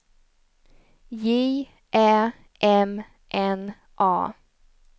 J Ä M N A